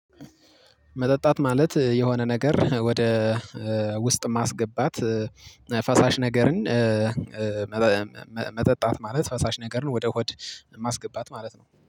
መጠጣት ማለት የሆነ ነገር ወደ ውስጥ ማስገባት ፈሳሽ ነገርን እእ መጠጣት ማለት ፈሳሽ ነገርን ወደ ሆድ ማስገባት ማለት ነው